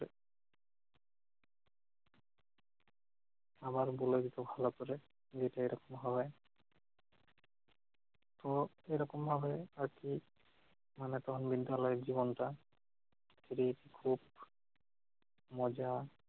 আবার বলে দিত ভাল করে যে এটা এরকম হবে। তো এরকম হবে আর কি মানে তখন বিদ্যালয়ের জীবনটা খুবই খুব মজা